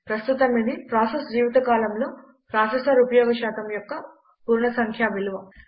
ప్రస్తుతం ఇది ప్రాసస్ జీవితకాలంలో ప్రాసెసర్ ఉపయోగ శాతం యొక్క పూర్ణసంఖ్యా విలువ